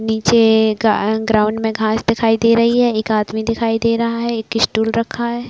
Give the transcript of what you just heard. निचे ग्राउंड मे घास दिखाई दे रही है एक आदमी दिखाई दे रहा है एक स्टूल रखा है।